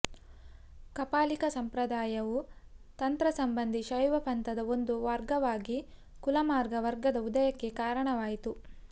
ಕಾಪಾಲಿಕ ಸಂಪ್ರದಾಯವು ತಂತ್ರಸಂಬಂಧಿ ಶೈವ ಪಂಥದ ಒಂದು ವರ್ಗವಾದ ಕುಲಮಾರ್ಗ ವರ್ಗದ ಉದಯಕ್ಕೆ ಕಾರಣವಾಯಿತು